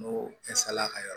N'o fɛnsala ka yɔrɔ